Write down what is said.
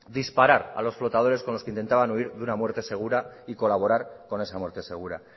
disparar a los flotadores con los que intentaban huir de una muerte segura y colaborar con esa muerte segura